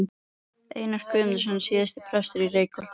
Einar Guðnason, síðar prestur í Reykholti.